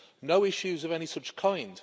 no issues of any such kind.